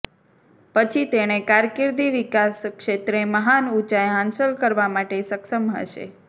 પછી તેણે કારકિર્દી વિકાસ ક્ષેત્રે મહાન ઊંચાઈ હાંસલ કરવા માટે સક્ષમ હશે